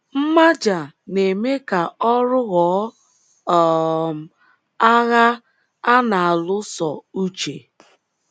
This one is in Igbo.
Mmaja na - eme ka ọrụ ghọọ um agha a na - alụso uche